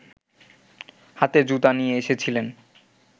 হাতে জুতা নিয়ে এসেছিলেন